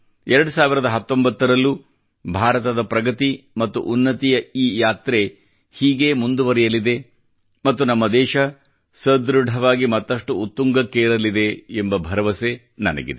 2019 ರಲ್ಲೂ ಭಾರತದ ಪ್ರಗತಿ ಮತ್ತು ಉನ್ನತಿಯ ಈ ಯಾತ್ರೆ ಹೀಗೆ ಮುಂದುವರಿಯಲಿದೆ ಮತ್ತು ನಮ್ಮ ದೇಶ ಸದೃಢವಾಗಿ ಮತ್ತಷ್ಟು ಉತ್ತುಂಗಕ್ಕೇರಲಿದೆ ಎಂಬ ಭರವಸೆ ನನಗಿದೆ